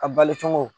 A bali cogo